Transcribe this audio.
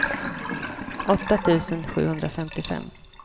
åtta tusen sjuhundrafemtiofem